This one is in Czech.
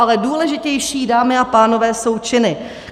Ale důležitější, dámy a pánové, jsou činy.